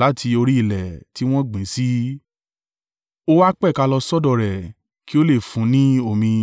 láti orí ilẹ̀ tí wọn gbìn ín sí, ó wá pẹ̀ka lọ sọ́dọ̀ rẹ̀ kí ó le fún un ni omi.